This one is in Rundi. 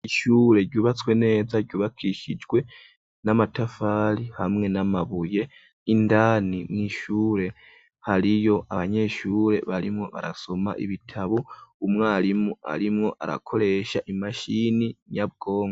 Ishure ryubatswe neza ryubakishijwe n'amatafari hamwe n'amabuye. Indani mw'ishure hariyo abanyeshure barimwo barasoma ibitabu, umwarimu arimwo arakoresha imashini nyabwonko.